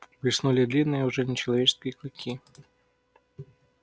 блеснули длинные уже нечеловеческие клыки